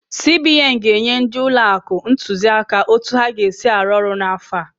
CBN ga-enye ndị ụlọ akụ ntụziaka otu ha ga-esi arụ ọrụ n'afọ a.